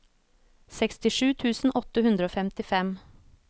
sekstisju tusen åtte hundre og femtifem